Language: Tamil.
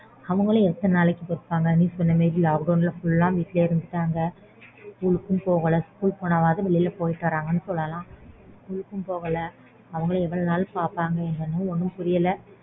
அவங்களும் எத்தனை நாளைக்கு கேப்பாங்க நீ சொன்ன மாதிரி lockdown ல வீட்லயே இறந்துட்டாங்க